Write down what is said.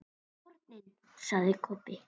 HORNIN, sagði Kobbi.